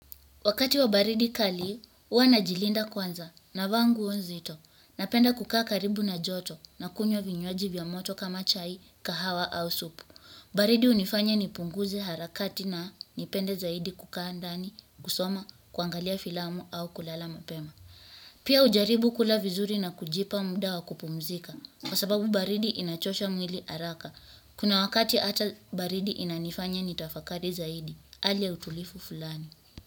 Wakati wa baridi kali, huwa najilinda kwanza navaa nguo nzito napenda kukaa karibu na joto nakunywa vinywaji vya moto kama chai, kahawa au supu. Baridi hunifanya nipunguze harakati na nipende zaidi kukaa ndani, kusoma, kuangalia filamu au kulala mapema. Pia hujaribu kula vizuri na kujipa mda wa kupumzika kwa sababu baridi inachosha mwili haraka. Kuna wakati hata baridi inanifanya nitafakari zaidi, hali ya utulivu fulani.